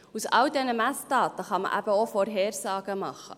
Aufgrund all dieser Messdaten kann man eben auch Vorhersagen machen.